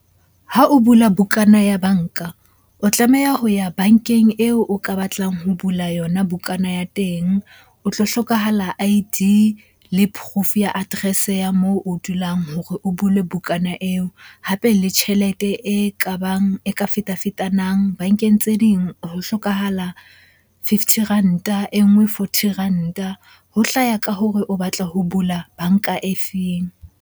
Ha o bula bukana ya banka, o tlameha ho ya bankeng eo o ka batlang ho bula yona bukana ya teng. O tlo hlokahala I-D le proof ya address-e ya moo o dulang hore o bule bukana eo. Hape le tjhelete e kabang, e ka feta-fetanang. Bankeng tse ding ho hlokahala fifty ranta, e nngwe forty ranta. Ho hlaya ka hore o batla ho bula banka e feng?